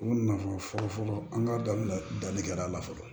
U nafa fɔlɔ fɔlɔ an ka dɔnkili la dalikɛla la fɔlɔ